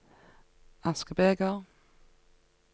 askebeger